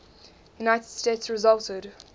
united states resulted